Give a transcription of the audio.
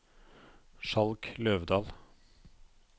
Skjalg Løvdal